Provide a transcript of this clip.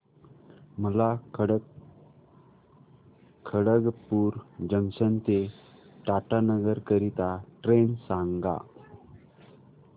मला खडगपुर जंक्शन ते टाटानगर करीता ट्रेन सांगा